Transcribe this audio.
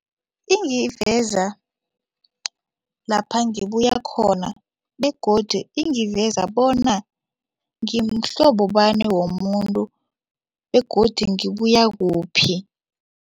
Ingiveza lapha ngibuya khona begodu ingiveza bona ngimhlobo bani womuntu begodu ngibuya kuphi.